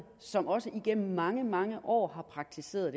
som også igennem mange mange år har praktiseret